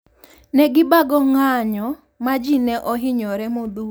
Ne gibago ng`anyo ma ji ne ohinyore modhuro.